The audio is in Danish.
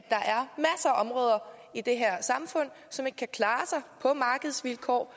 områder i det her samfund som ikke kan klare sig på markedsvilkår